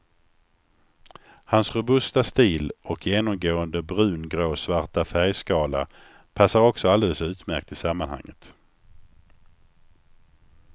Hans robusta stil och genomgående brungråsvarta färgskala passar också alldeles utmärkt i sammanhanget.